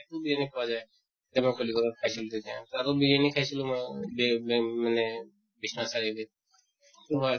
তো পোৱা যায় । তেনেকুৱা কলিকতা ত খাইছিলো তেতিয়া । তাতো বিৰিয়ানি খাইছিলো ম বি ব মানে বিশ্বনাথ চাৰিআলি ত, খুব ভাল ।